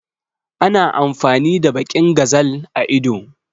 Ana amfani da baƙin gazal a ido